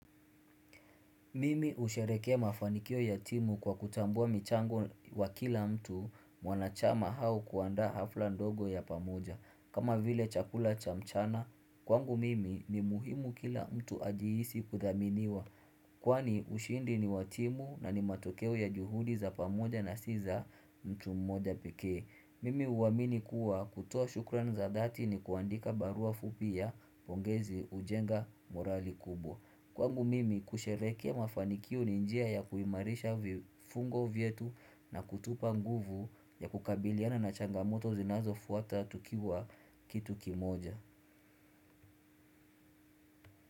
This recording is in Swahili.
Mimi husherehekea mafanikio ya timu kwa kutambua michango wa kila mtu mwanachama au kuandaa hafla ndogo ya pamoja. Kama vile chakula cha mchana, kwangu mimi ni muhimu kila mtu ajihisi kuthaminiwa. Kwani ushindi ni wa timu na ni matokeo ya juhudi za pamoja na si za mtu mmoja pekee. Mimi huamini kuwa kutoa shukran za dhati ni kuandika barua fupi ya pongezi hujenga morali kubwa. Kwangu mimi kusherehekea mafanikio ni njia ya kuimarisha vifungo vyetu na kutupa nguvu ya kukabiliana na changamoto zinazofuata tukiwa kitu kimoja.